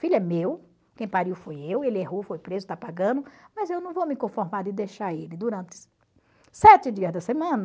Filho é meu, quem pariu foi eu, ele errou, foi preso, está pagando, mas eu não vou me conformar e deixar ele durante sete dias da semana.